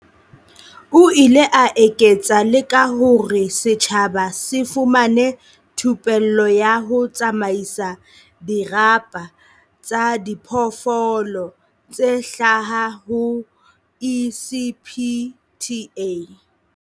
O ile a eketsa le ka hore setjhaba se fumane thupello ya ho tsamaisa dirapa tsa diphoofolo tse hlaha ho ECPTA.